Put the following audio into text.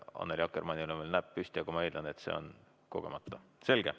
Annely Akkermannil on veel näpp püsti, aga ma eeldan, et see on kogemata.